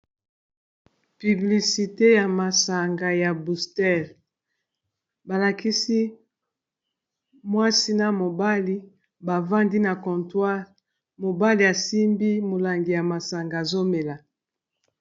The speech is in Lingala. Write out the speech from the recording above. Publicité ya masanga ya bustel balakisi mwasi na mobali bavandi na contoire mobali asimbi molangi ya masanga azomela